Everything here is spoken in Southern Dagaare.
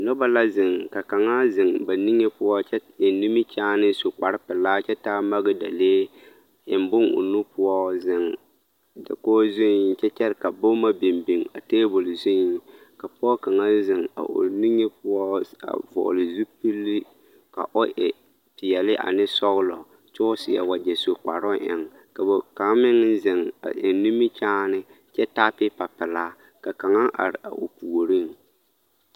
Noba la zeŋ ka kaŋa zeŋ ba nige poɔ kyɛ eŋ nimikyaane a su kparepelaa kyɛ taa magedalee eŋ bonne o nu poɔ zeŋ dakogi zuŋ kyɛ kyɛre ka boma biŋ biŋ a table zuŋ ka pɔge kaŋa zeŋ a o nige poɔ a vɔgle zupili ka o e peɛlle ane sɔglɔ kyɛ ka o seɛ wagyɛ su kparoŋ eŋ ka ba kaŋ meŋ zeŋ eŋ nimikyaane kyɛ taa peepa pelaa ka kaŋa are o puoriŋ.